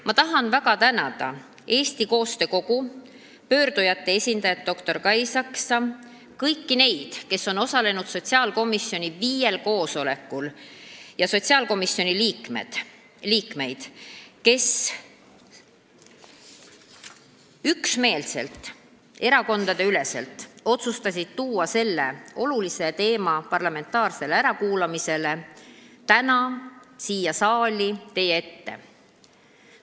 Ma tahan väga tänada Eesti Koostöö Kogu, pöördujate esindajat doktor Kai Saksa, kõiki neid, kes on osalenud sotsiaalkomisjoni viiel koosolekul, ja sotsiaalkomisjoni liikmeid, kes üksmeelselt, erakondadeüleselt otsustasid tuua selle olulise teema parlamentaarsele ärakuulamisele täna siia saali teie ette.